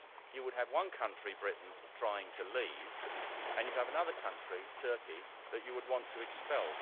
You would have one country, Britain, trying to leave, and you'd have another country, Turkey, that you would want to expel.